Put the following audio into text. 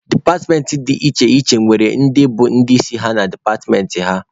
Departmentị dị iche iche nwekwara ndị bụ ndị isi na departmentị ha.